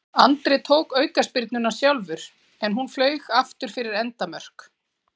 Andri tók aukaspyrnuna sjálfur en hún flaug aftur fyrir endamörk.